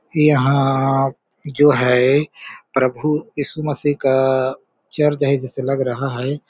यहाँ जो है प्रभु यीशु मसीह का चर है जैसे लग रहा है।